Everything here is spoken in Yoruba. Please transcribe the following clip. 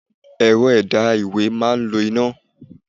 Ẹ̀rọ ẹ̀dà ìwé máa ń lo iná.